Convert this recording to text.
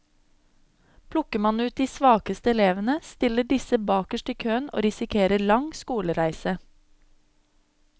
Plukker man ut de svakeste elevene, stiller disse bakerst i køen og risikerer lang skolereise.